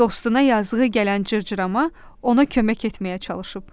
Dostuna yazığı gələn cırcırama ona kömək etməyə çalışıb.